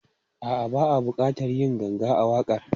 A'a, ba a buƙatar yin ganga a waƙar.